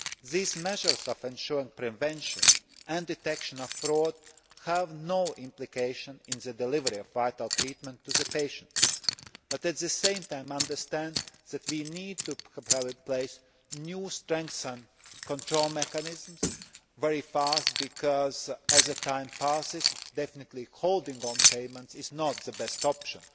These measures for ensuring prevention and detection of fraud have no implication in the delivery of vital treatment to the patient but, at the same time, understand that we need to have in place new, strengthened control mechanisms very fast, because as time passes, indefinitely holding on to payments is not the best option.